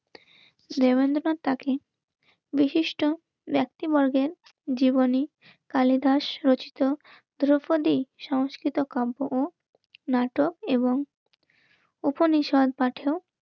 লেভেলে বিশিষ্ট ব্যক্তিবর্গের জীবনী কালিদাস রচিত দ্রৌপদী সংস্কৃত কাব্য নাটক এবং উপনিষদ পাঠেও